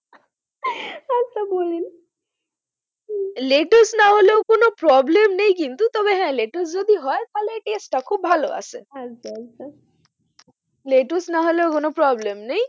তা বলেন লেটুস না হলেও কোনও problem নেই কিন্তু তবে হ্যাঁ লেটুস যদি হয় তা হলে test টা খুব ভালো আসে আচ্ছা আচ্ছা লেটুস না হলেও কোন problem নেই,